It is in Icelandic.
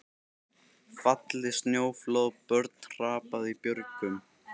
Fallið snjóflóð, börn hrapað í björgum.